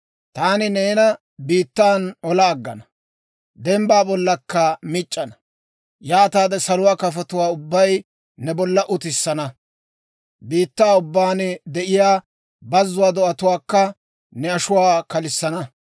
Taani neena biittan olaa aggana; dembbaa bollakka mic'ana; yaataade saluwaa kafotuwaa ubbay ne bolla utissana; biittaa ubbaan de'iyaa bazzuwaa do'atuwaakka ne ashuwaa kalissana.